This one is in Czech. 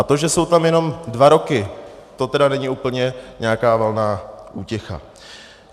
A to, že jsou tam jenom dva roky, to teda není úplně nějaká valná útěcha.